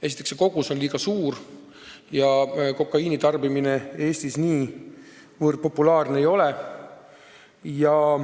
Esiteks, see kogus on liiga suur ja kokaiini tarbimine Eestis niivõrd populaarne ei ole.